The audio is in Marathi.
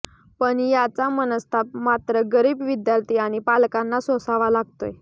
पण याचा मनस्ताप मात्र गरीब विद्यार्थी आणि पालकांना सोसावा लागतोय